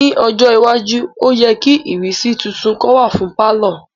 Ni ojo iwaju o yẹ ki ìrísí titun kan wa fun palọ.